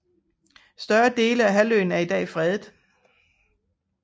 Store dele af halvøen er i dag fredet